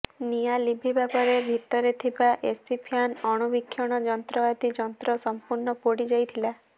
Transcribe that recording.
ନିଆଁ ଲିଭିବା ପରେ ଭିତରେ ଥିବା ଏସି ଫ୍ୟାନ୍ ଅଣୁବୀକ୍ଷଣ ଯନ୍ତ୍ର ଆଦି ଯନ୍ତ୍ର ସଂପୂର୍ଣ୍ଣ ପୋଡିଯାଇଥିଲା